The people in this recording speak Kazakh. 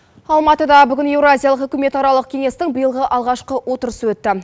алматыда бүгін еуразиялық үкімет аралық кеңестің биылғы алғашқы отырысы өтті